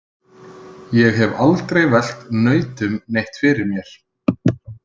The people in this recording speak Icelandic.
Ég hef aldrei velt nautum neitt fyrir mér.